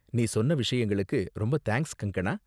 நீ சொன்ன விஷயங்களுக்கு ரொம்ப தேங்க்ஸ் கங்கணா.